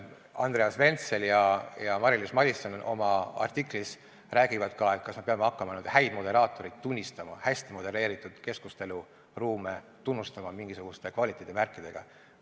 Andreas Ventsel ja Mari-Liis Madisson oma artiklis räägivad ka sellest, kas me peame hakkama häid moderaatoreid tunnustama, hästi modelleeritud keskusteluruume tunnustama mingisuguste kvaliteedimärkidega.